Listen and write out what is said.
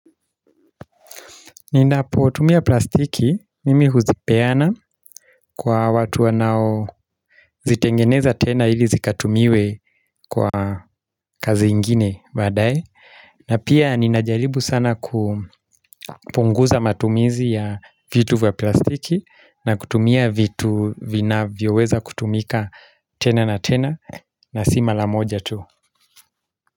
Ninapotumia plastiki mimi huzipeana kwa watu wanao zitengeneza tena ili zikatumiwe kwa kazi ingine baadae. Na pia ninajalibu sana kupunguza matumizi ya vitu vya plastiki na kutumia vitu vinavyoweza kutumika tena na tena na si mara moja tu.